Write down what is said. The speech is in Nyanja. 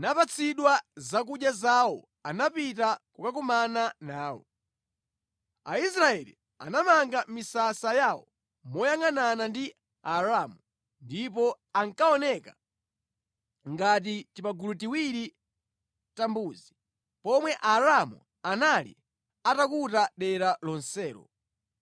napatsidwa zakudya zawo anapita kukakumana nawo. Aisraeli anamanga misasa yawo moyangʼanana ndi Aaramu ndipo ankaoneka ngati timagulu tiwiri ta mbuzi, pomwe Aaramu anali atakuta dera lonselo.